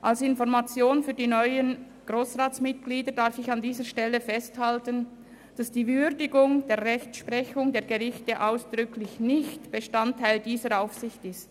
Als Information für die neuen Grossratsmitglieder darf ich an dieser Stelle festhalten, dass die Würdigung der Rechtsprechung der Gerichte ausdrücklich nicht Bestandteil dieser Aufsicht ist.